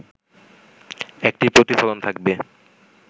একটি প্রতিফলন থাকবে